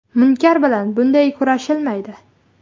Munkar bilan bunday kurashilmaydi.